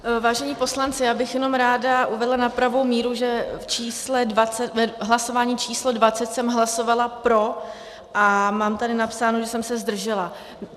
Vážení poslanci, já bych jenom ráda uvedla na pravou míru, že v hlasování číslo 20 jsem hlasovala pro, a mám tady napsáno, že jsem se zdržela.